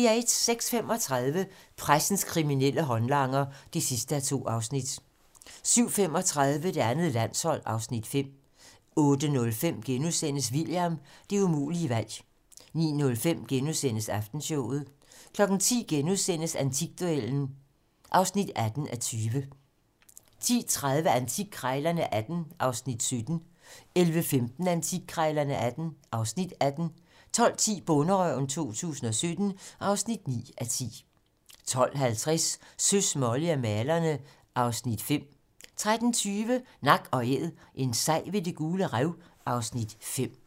06:35: Pressens kriminelle håndlanger (2:2) 07:35: Det andet landshold (Afs. 5) 08:05: William - Det umulige valg * 09:05: Aftenshowet * 10:00: Antikduellen (18:20)* 10:30: Antikkrejlerne XVIII (Afs. 17) 11:15: Antikkrejlerne XVIII (Afs. 18) 12:10: Bonderøven 2017 (9:10) 12:50: Søs, Molly og malerne (Afs. 5) 13:20: Nak & æd - en sej ved Det Gule Rev (Afs. 5)